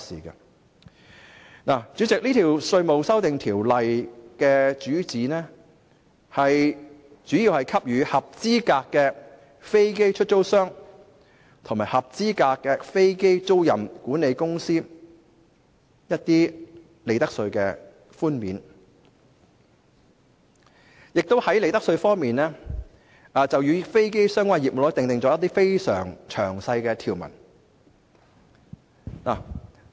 代理主席，《條例草案》旨在給予合資格飛機出租商及合資格飛機租賃管理商一些利得稅寬免，並在利得稅方面，就與飛機相關的業務，訂定一些非常詳細的條文。